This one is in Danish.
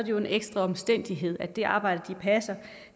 jo en ekstra omstændighed at det arbejde